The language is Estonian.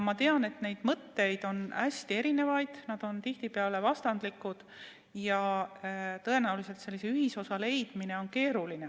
Ma tean, et mõtteid on hästi erinevaid, need on tihtipeale vastandlikud, ja tõenäoliselt sellise ühisosa leidmine on keeruline.